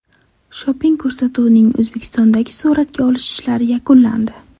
Shopping” ko‘rsatuvining O‘zbekistondagi suratga olish ishlari yakunlandi .